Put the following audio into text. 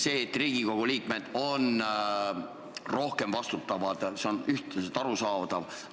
See, et Riigikogu liikmed on rohkem vastutavad, on arusaadav.